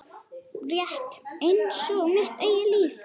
Rétt einsog mitt eigið líf.